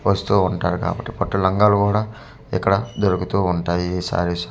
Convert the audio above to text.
వస్తు ఉంటారు కాబట్టి పట్టు లంగాలు కూడా ఇక్కడ దొరుకుతు ఉంటాయి ఈ శారీ సెంటర్ .